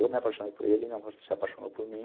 Eu me apaixonei por ele, ele se apaixonou por mim.